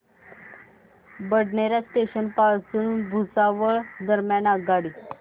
Badnera junction पासून भुसावळ दरम्यान आगगाडी